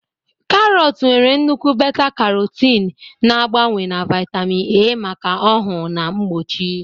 Karọt nwere nnukwu beta-carotene, na-agbanwe na vitamin A maka ọhụụ na mgbochi.